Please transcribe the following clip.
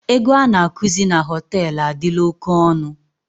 Ego a na-akụzi na hotel adịla oke onụ